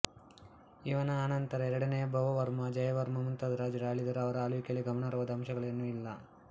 ಇವನ ಅನಂತರ ಎರಡನೆಯ ಭವವರ್ಮ ಜಯವರ್ಮ ಮುಂತಾದ ರಾಜರು ಆಳಿದರೂ ಅವರ ಆಳ್ವಿಕೆಯಲ್ಲಿ ಗಮನಾರ್ಹವಾದ ಅಂಶಗಳೇನೂ ಇಲ್ಲ